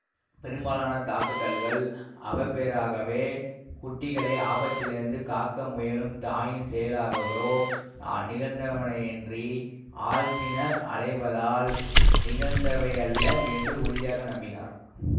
பெரும்பாலான தாக்குதல்கள் அவப்பேறாகவோ குட்டிகளை ஆபத்திலிருந்து காக்க முயலும் தாயின் செயலாகவோ நிகழ்ந்தனவேயன்றி ஆள்தின்ன அலைவதால் நிகழ்ந்தவையல்ல என்று உறுதியாக நம்பினார்